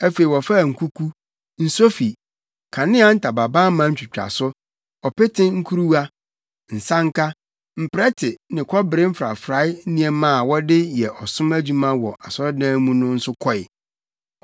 Afei wɔfaa nkuku, nsofi, kanea ntamabamma ntwitwaso, ɔpete nkuruwa, nsanka, mprɛte ne kɔbere mfrafrae nneɛma a wɔde yɛ ɔsom adwuma wɔ asɔredan mu no nso kɔe.